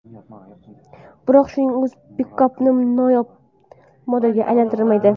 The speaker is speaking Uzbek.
Biroq shuning o‘zi pikapni noyob modelga aylantirmaydi.